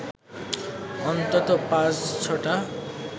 অন্তত পাঁচ-ছটা